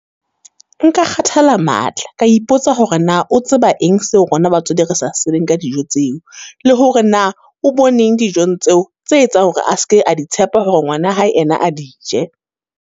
Nka kgathala matla, ka ipotsa hore na o tseba eng seo rona batswadi re sa se tsebeng ka dijo tseo? Le hore na, o boneng dijong tseo, tse etsang hore a seke a di tshepa hore ngwana hae yena a di je?